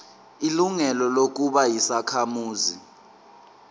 ilungelo lokuba yisakhamuzi